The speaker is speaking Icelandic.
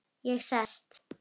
Ég sest.